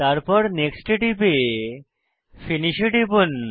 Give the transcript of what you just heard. তারপর নেক্সট এ টিপে ফিনিশ এ টিপুন